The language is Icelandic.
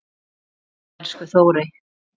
Hvíldu í friði, elsku Þórey.